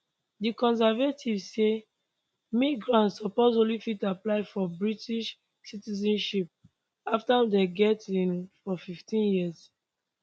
di conservatives say migrants suppose only fit apply for british citizenship afta dem get ilr for 15 years